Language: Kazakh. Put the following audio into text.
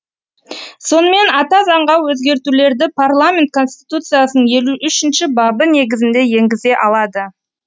сонымен ата заңға өзгертулерді парламент конституцияның елу үшінші бабы негізінде енгізе алады